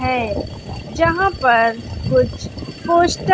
है जहां पर कुछ पोस्ट --